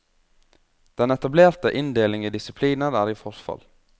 Den etablerte inndeling i disipliner er i forfall.